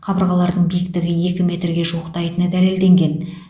қабырғаларының биіктігі екі метрге жуықтайтыны дәлелденген